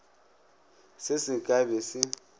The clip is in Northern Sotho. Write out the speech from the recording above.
se se ka be se